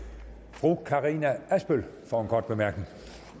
fru karina adsbøl for en kort bemærkning